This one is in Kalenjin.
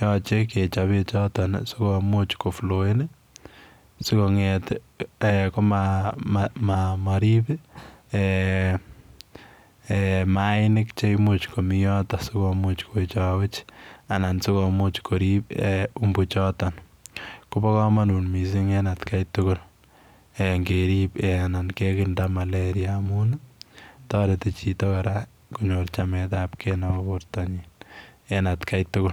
yoche kechob bechoton sikomuch kofloen sikong'et komarib mainik chemuch komii yoton sikomuch kowechowech anan sikomuch korib umbu choton, kobokomonut mising en atakai tukul ingekirinda malaria amun toreti chito kora konyor chametabke nebo bortanyin en atkai tukul.